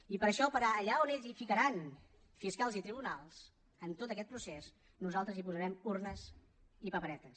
i per això per allà on ells hi ficaran fiscals i tribunals en tot aquest procés nosaltres hi posarem urnes i paperetes